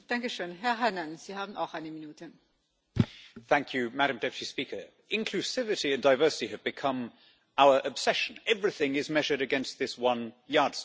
Madam President, inclusivity and diversity have become our obsession. Everything is measured against this one yardstick, so that it becomes the primary purpose of every institution.